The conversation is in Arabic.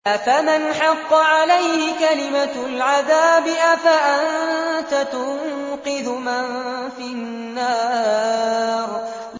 أَفَمَنْ حَقَّ عَلَيْهِ كَلِمَةُ الْعَذَابِ أَفَأَنتَ تُنقِذُ مَن فِي النَّارِ